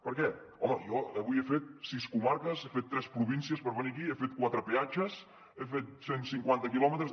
per què home jo avui he fet sis comarques he fet tres províncies per venir aquí he fet quatre peatges he fet cent cinquanta quilòmetres